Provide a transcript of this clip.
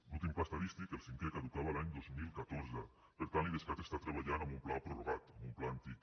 l’últim pla estadístic el cinquè caducava l’any dos mil catorze per tant l’idescat està treballant amb un pla prorrogat amb un pla antic